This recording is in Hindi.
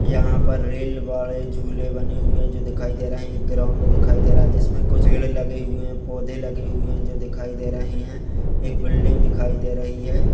यहां पर रेल वाले झूले बने हुए है जो कि दिखाई दे रहे है एक ग्राउन्ड दिखाई दे रहा है जिसमे कुछ पेड़ लगे हुए है पौधे लगे हुए है जो दिखाई दे रहे है एक बिल्डिंग दिखाई दे रही है।